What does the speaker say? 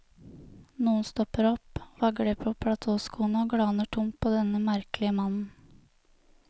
Noen stopper opp, vagler på platåskoene og glaner tomt på denne merkelige mannen.